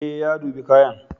Ee, ya dubi kayan.